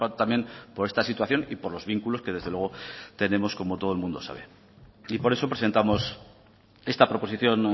también por esta situación y por los vínculos que desde luego tenemos como todo el mundo sabe y por eso presentamos esta proposición